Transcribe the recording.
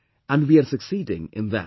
And we are succeeding in that